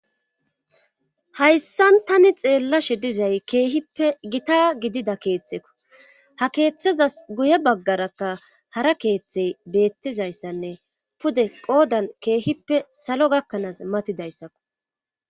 Hayssan tani xeellashe dizay keehippe gita gidida keeththeko ha keeththazas guye baggarakka hara keeththey beettizayssanne pude qoodan keehippe salo gakkanaas matidayssakko.